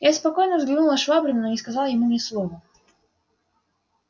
я спокойно взглянул на швабрина но не сказал ему ни слова